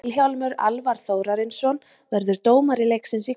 Vilhjálmur Alvar Þórarinsson verður dómari leiksins í kvöld.